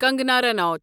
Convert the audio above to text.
Kangana Ranaut